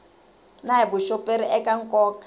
na hi vuxoperi eka nkoka